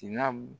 Tin na